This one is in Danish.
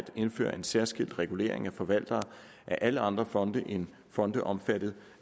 indføre en særskilt regulering af forvaltere af alle andre fonde end fonde omfattet